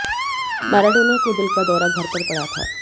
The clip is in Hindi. माराडोना का दिल का दौरा घर पर पड़ा था